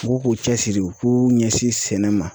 U k'u cɛsiri u k'u ɲɛsin sɛnɛ ma